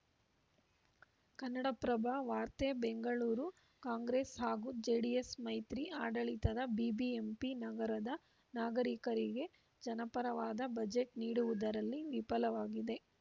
ಕನ್ನಡಪ್ರಭ ವಾರ್ತೆ ಬೆಂಗಳೂರು ಕಾಂಗ್ರೆಸ್‌ ಹಾಗೂ ಜೆಡಿಎಸ್‌ ಮೈತ್ರಿ ಆಡಳಿತದ ಬಿಬಿಎಂಪಿ ನಗರದ ನಾಗರಿಕರಿಗೆ ಜನಪರವಾದ ಬಜೆಟ್‌ ನೀಡುವುದರಲ್ಲಿ ವಿಫಲವಾಗಿದೆ